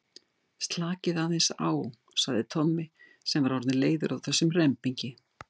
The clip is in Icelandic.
Slakið aðeins á sagði Tommi sem var orðinn leiður á þessum rembingi.